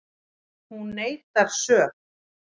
Hún neitar sök